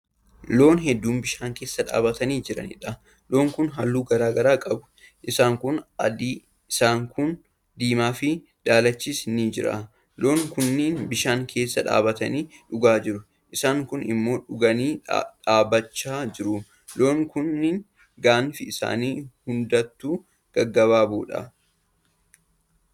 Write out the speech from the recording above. Loon hedduu bishaan keessa dhaabatanii jiranidha. loon Kun halluu garagaraa qabu. isaan kuun adiidha, isaan kuun diimaafi daalachis ni jira. loon kunniin bishaan keessa dhaabatanii dhugaa jiru, isaan kuun immoo dhuganii dhaabachaa jru. loon kunniin gaanfi isaan hundaatuu gaggabaaboodha.